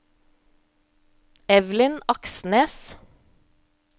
Evelyn Aksnes